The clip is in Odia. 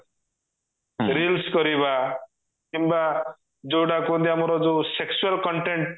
reels କରିବା କିମ୍ବା ଯଉଟା କୁହନ୍ତି ଆମର sexual content